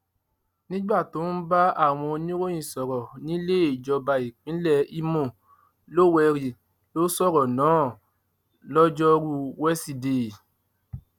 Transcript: nígbà tó ń bá àwọn oníròyìn sọrọ níléejọba ìpínlẹ ìmọ lówẹrì ló sọrọ náà lojoruu wesidee